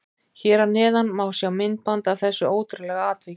Hér að neðan má sjá myndband af þessu ótrúlega atviki.